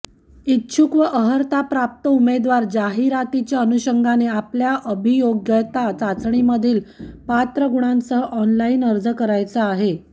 इच्छुक व अर्हताप्राप्त उमेदवार जाहिरातीच्या अनुषंगाने आपल्या अभियोग्यता चाचणीमधील पात्र गुणांसह ऑनलाईन अर्ज करायचा आहे